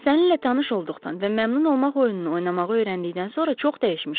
Səninlə tanış olduqdan və məmnun olmaq oyununu oynamağı öyrəndikdən sonra çox dəyişmişəm.